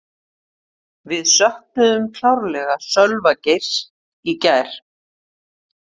Við söknuðum klárlega Sölva Geirs í gær.